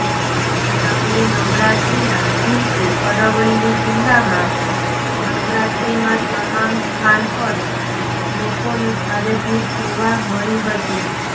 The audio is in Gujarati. નવલી નવરાત્રીના દિવસે અરવલ્લી જિલ્લામાં નવરાત્રીમાં તમામ સ્થાન પર લોકોને ભારે ભીડ જોવા મળી હતી